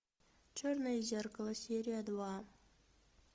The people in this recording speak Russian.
черное зеркало серия два